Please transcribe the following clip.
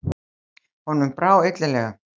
Honum brá illilega.